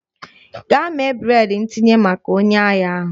Gaa mee breịd ntinye maka onye ahịa ahụ!